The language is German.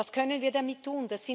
Was können wir damit tun?